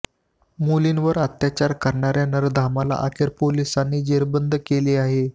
मुलींवर अत्याचार करणाऱ्या नराधमाला अखेर पोलीसांनी जेरबंद केले आहे